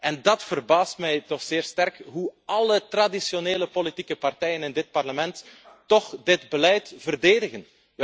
En dat verbaast mij toch zeer sterk, hoe alle traditionele politieke partijen in dit parlement toch dit beleid verdedigen.